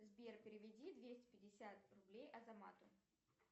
сбер переведи двести пятьдесят рублей азамату